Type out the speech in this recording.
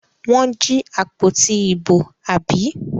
Wọ́n jí àpótí ìbò, àbí?